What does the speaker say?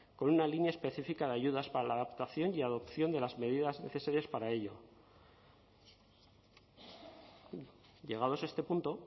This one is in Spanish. con una línea específica de ayudas para la adaptación y adopción de las medidas necesarias para ello llegados a este punto